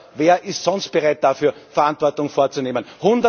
Oder wer ist sonst bereit, dafür Verantwortung zu übernehmen?